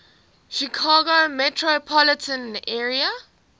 chicago metropolitan area